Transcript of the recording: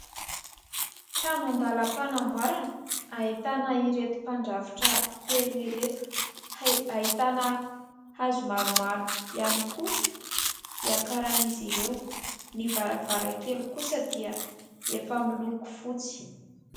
Trano an-dalam-panamboarana ahitana ireto mpandrafitra telo ireto, ahitana hazo maromaro ihany koa hiakaran'izy ireo. Ny varavarakely kosa dia efa miloko fotsy.